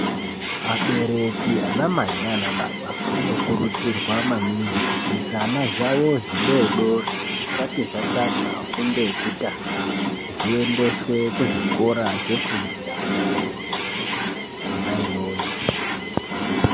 Abereki anamai nanababa anokurudzirwa maningi kuti zvana zvavo zvidodori zvisati zvatanga fundo yekutanga. Zviendeswe kuzvikora zvefundo yeana adodori kona iyoyo.